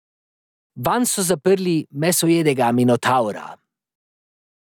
Vanj so zaprli mesojedega Minotavra.